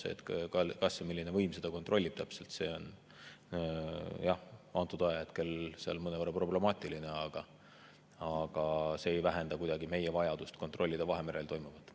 See, kas ja milline võim seda täpselt kontrollib, on, jah, antud ajahetkel mõnevõrra problemaatiline, aga see ei vähenda kuidagi meie vajadust kontrollida Vahemerel toimuvat.